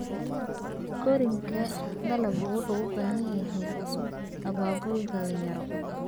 Koriinka dalaggu wuxuu u baahan yahay abaabul dhalinyaro.